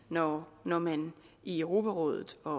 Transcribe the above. når når man i europarådet og